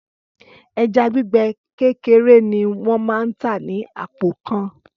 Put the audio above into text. Ẹja gbígbẹ kékeré ni wọ́n máa tà ní àpò kan.